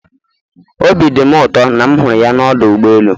Obi dị m ụtọ na m hụrụ ya n'ọdụ ụgbọ elu.